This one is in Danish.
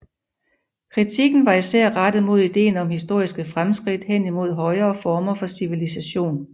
Kritikken var især rettet mod ideen om historiske fremskridt hen imod højere former for civilisation